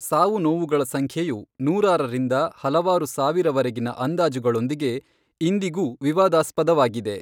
ಸಾವುನೋವುಗಳ ಸಂಖ್ಯೆಯು ನೂರಾರರಿಂದ ಹಲವಾರು ಸಾವಿರವರೆಗಿನ ಅಂದಾಜುಗಳೊಂದಿಗೆ ಇಂದಿಗೂ ವಿವಾದಾಸ್ಪದವಾಗಿದೆ.